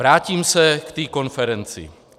Vrátím se k té konferenci.